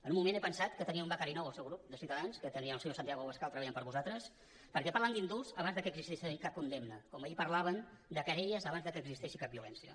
per un moment he pensat que tenia un becari nou al seu grup de ciutadans que tenia el senyor santiago abascal treballant per a vosaltres perquè parlen d’indults abans que existeixi cap condemna com ahir parlaven de querelles abans que existeixi cap violència